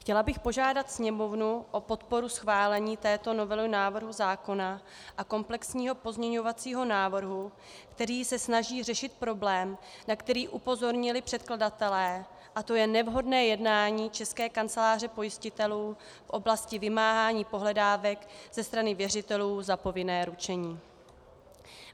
Chtěla bych pořádat Sněmovnu o podporu schválení této novely návrhu zákona a komplexního pozměňovacího návrhu, který se snaží řešit problém, na který upozornili předkladatelé, a to je nevhodné jednání České kanceláře pojistitelů v oblasti vymáhání pohledávek ze strany věřitelů za povinné ručení.